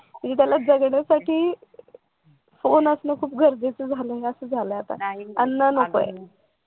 माणसाला जगण्यासाठी फोन असणं असं गरजेचं असं झालेलं आहे. आता अन्न नकोय